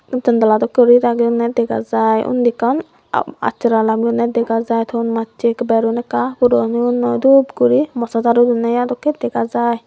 jontala dokke guri ragiyonne degajar uni ekkan at atsara lamionne degajai ton mache berun ekka puron oyon noi dup guri morsa daru donne i dokke degajai.